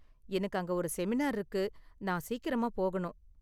எனக்கு அங்க ஒரு செமினார் இருக்கு, நான் சீக்கிரமா போகணும்.